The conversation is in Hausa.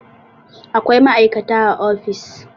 Akwai ma'aikata a ofis.